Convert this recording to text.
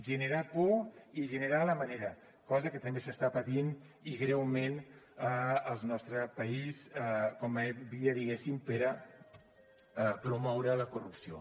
generar por i generar la manera cosa que també s’està patint i greument al nostre país com a via diguéssim per a promoure la corrupció